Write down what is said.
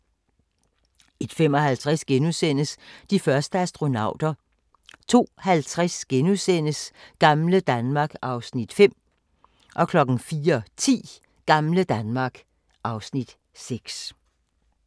01:55: De første astronauter * 02:50: Gamle Danmark (Afs. 5)* 04:10: Gamle Danmark (Afs. 6)